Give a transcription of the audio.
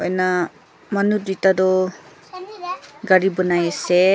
na manu duita toh gari bunai ase.